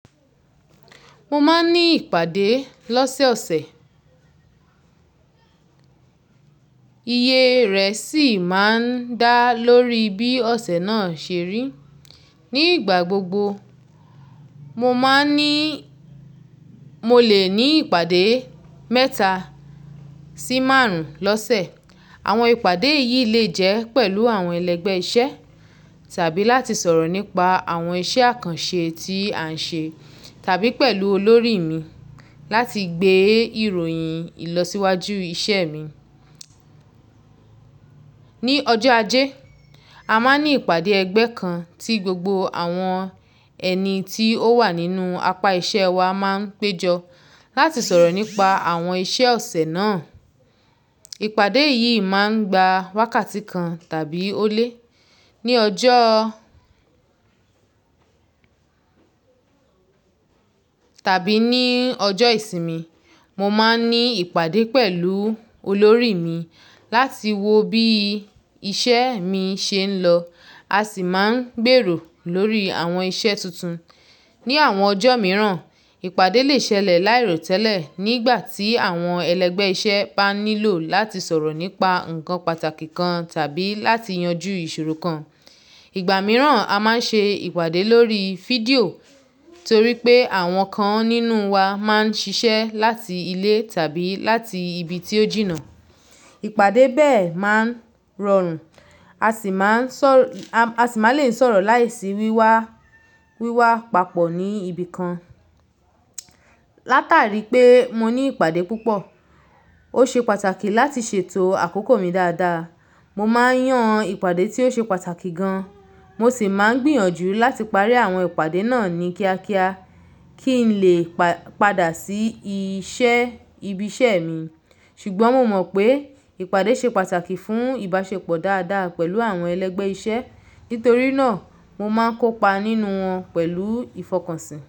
Mo máa ń ní ìpàdé lọ́sẹ̀ọ̀sẹ̀, iye rẹ̀ sì máa ń dá lórí bí ọ̀sẹ̀ náà ṣe rí. Ní ìgbà gbogbo, mo lè ní ìpàdé mẹ́ta sí márùn-ún lọ́sẹ̀. Àwọn ìpàdé yìí lè jẹ́ pẹ̀lú àwọn ẹlẹgbẹ́ iṣẹ́ tàbí láti sọ̀rọ̀ nípa àwọn iṣẹ́ àkànṣe tí à ń ṣe tàbí pẹ̀lú olórí mi láti gbé ìròyìn ìlọsíwájú iṣẹ́ mi. Ni ọjọ́ ajé, a máa ń ní ìpàdé ẹgbẹ́ kan tí gbogbo àwọn ẹni tí ó wà nínú apá iṣẹ́ wa máa ń péjọ láti sọ̀rọ̀ nípa àwọn iṣẹ́ ọ̀sẹ̀ náà. Ìpàdé yìí máa ń gba wákàtí kan tàbí ó lé. Ni ọjọ́ tàbí ní ọjọ́ ìsinmi, mo máa ń ní ìpàdé pẹ̀lú olórí mi láti wo bí iṣẹ́ mi ṣe ń lọ, a sì máa ń gbèrò lórí àwọn iṣẹ́ tuntun. Ni àwọn ọjọ́ mìíràn, ìpàdé lè ṣẹlẹ̀ láìròtẹ́lẹ̀ nígbà tí àwọn ẹlẹgbẹ́ iṣẹ́ bá nílò láti sọ̀rọ̀ nípa ǹkan pàtàkì kan tàbí láti yanjú ìṣòro kan. Ìgbà mìíràn, a máa ń ṣe ìpàdé lórí fídíò torí pé àwọn kan nínú wa máa ń ṣiṣẹ́ láti ilé tàbí láti ibi tí ó jìnnà. Ìpàdé bẹ́ẹ̀ máa ń rọrùn, a sì máa lè ń sọ̀rọ̀ láìsí wíwá papọ̀ ní ibi kan. Látàrí pé mo ní ìpàdé púpọ̀, ó ṣe pàtàkì láti ṣètò àkókò mi dáadáa. Mo máa ń yàn ìpàdé tí ó ṣe pàtàkì gan, mo sì máa ń gbìyànjú láti parí àwọn ìpàdé náà ní kíákíá kí n lè padà sí ibi iṣẹ́ mi. Ṣùgbọ́n mo mọ̀ pé ìpàdé ṣe pàtàkì fún ìbáṣepọ̀ dáadáa pẹ̀lú àwọn ẹlẹgbẹ́ iṣẹ́, nítorí náà mo máa ń kópa nínú wọn pẹ̀lú ìfọkànsìn.